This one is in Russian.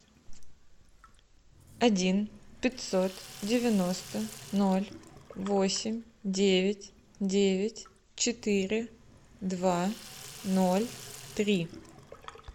один пятьсот девяносто ноль восемь девять девять четыре два ноль три